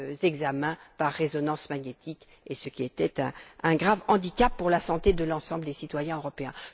examens par résonnance magnétique, ce qui était un grave handicap pour la santé de l'ensemble des citoyens européens.